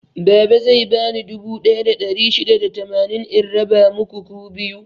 Baba zai bani dubu ɗaya da ɗari shida da tamanin in raba muku ku biyu.